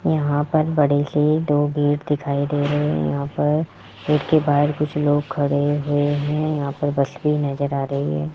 यहां पर बड़े से दो गेट दिखाई दे रहे हैं यहां पर गेट के बाहर कुछ लोग खड़े हैं यहां पर बस भी नजर आ रही है।